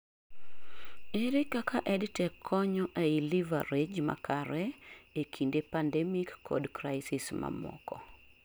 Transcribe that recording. ere kaka EdTech konyo ei leverage makare ee kinde pandemic kod crisis mamoko?